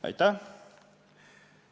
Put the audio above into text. Aitäh!